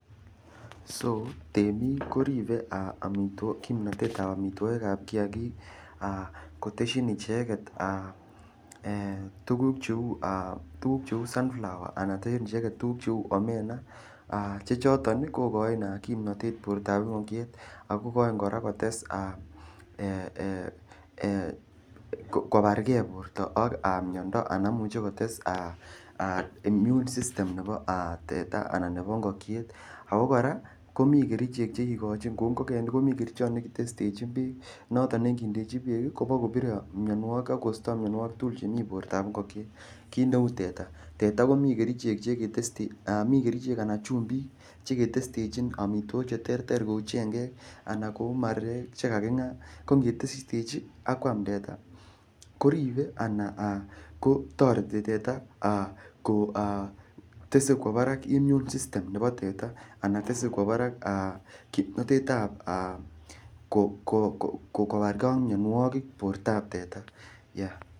so Temik koribe kimnatet ab omitwogik ab kiagik kotesyin icheget yuguk cheu sunflowe anan tesyin icheget tuguk cheu omena, che choton kogochin kimnatet bortab ingokyet ako igojin kora kobargen borto ak miondo anan imuche kotes immune system nebo tata anan nebo ingokyet, ako kora komi kerichek chegikochin kou ngogenik komi kerichot nekitestesjin beek, noton neigindechi beek ii kobokobire mionwogik ak kosto mionwogik tugul chemi bortab ingokyet, kit neu teta komi kerichek anan chumbik chekitestechin omitwogik cheterter kou chengeek anan kou marurek chekaking'aa, ko ingetestechi ak kwam teta koribe anan kotoreti teta kotese kwo barak immune system nebo teta anan tese kwo barak kimnotet ab kobargen ak mionwogik kimnotet ab teta.